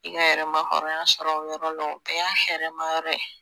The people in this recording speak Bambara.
I ka yɛrɛma hɔrɔnya sɔrɔ o yɔrɔ la o bɛɛ y'a hɛrɛma yɔrɔ ye